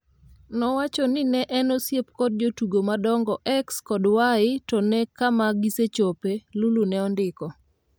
nowacho ni ne en e osiep kod jotugo madongo X kod Y to nee kama gisechope, Lulu ne ondiko